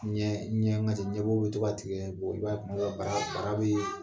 Ɲɛ ɲɛ ka ɲɛbɔ bɛ to ka tigɛ i b'a ye tuma dɔ bara bara bɛ